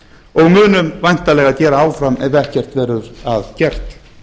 og munum væntanlega gera áfram ef ekkert verður að gert